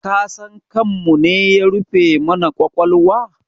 Kasan kanmune ya rufe mana ƙwaƙwalwa?